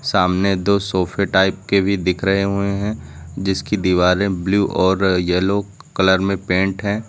सामने दो सोफे टाइप के भी दिख रहे हुए हैं जिसकी दीवारें ब्लू और येलो कलर में पेंट है।